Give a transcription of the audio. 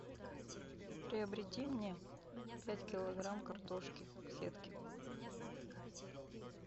приобрети мне пять килограмм картошки в сетке